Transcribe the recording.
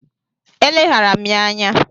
E leghaara m ya anya.